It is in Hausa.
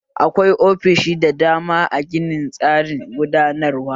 Akwai ofishi da dama a ginin tsarin gudanarwa